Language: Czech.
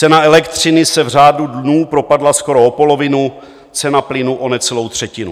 Cena elektřiny se v řádu dnů propadla skoro o polovinu, cena plynu o necelou třetinu.